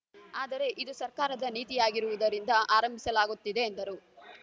ಆದರೆ ಇದು ಸರ್ಕಾರದ ನೀತಿಯಾಗಿರುವುದರಿಂದ ಆರಂಭಿಸಲಾಗುತ್ತಿದೆ ಎಂದರು